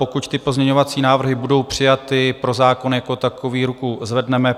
Pokud ty pozměňovací návrhy budou přijaty, pro zákon jako takový ruku zvedneme.